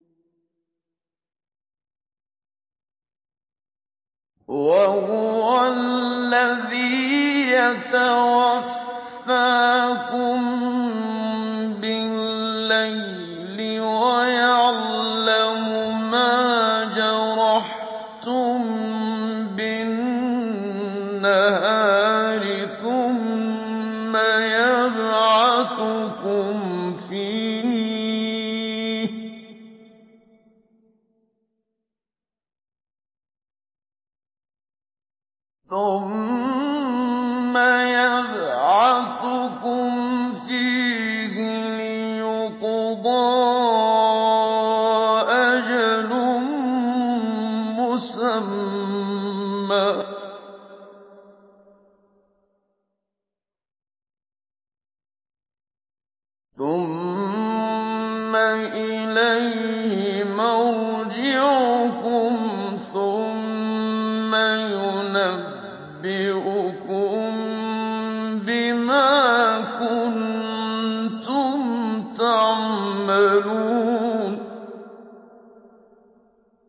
وَهُوَ الَّذِي يَتَوَفَّاكُم بِاللَّيْلِ وَيَعْلَمُ مَا جَرَحْتُم بِالنَّهَارِ ثُمَّ يَبْعَثُكُمْ فِيهِ لِيُقْضَىٰ أَجَلٌ مُّسَمًّى ۖ ثُمَّ إِلَيْهِ مَرْجِعُكُمْ ثُمَّ يُنَبِّئُكُم بِمَا كُنتُمْ تَعْمَلُونَ